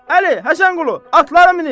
Əli, Həsənqulu, atları minin!